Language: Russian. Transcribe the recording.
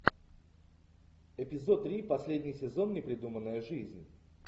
эпизод три последний сезон непридуманная жизнь